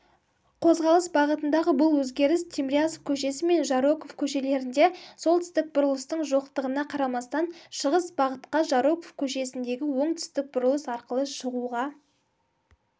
қозғалыс бағытындағы бұл өзгеріс тимирязев көшесі мен жароков көшелерінде солтүстік бұрылыстың жоқтығына қарамастан шығыс бағытқа жароков көшесіндегі оңтүстік бұрылыс арқылы шығуға